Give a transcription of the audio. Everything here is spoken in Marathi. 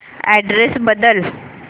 अॅड्रेस बदल